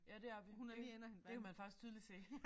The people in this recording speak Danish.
Ja det er vi det det kan man faktisk tydeligt se